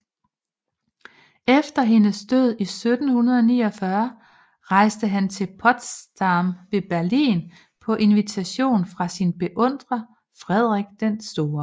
Efter hendes død i 1749 rejste han til Potsdam ved Berlin på invitation fra sin beundrer Frederik den Store